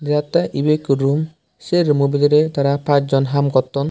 deotte ebe ekko rum se rum mo bidire aara pass jon ham gotton.